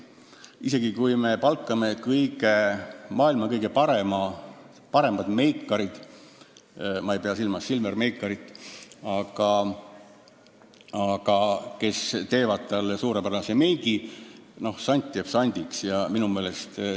Isegi kui me palkame maailma kõige paremad meikarid – ma ei pea silmas Silver Meikarit –, kes teevad suurepärase meigi, sant jääb sandiks!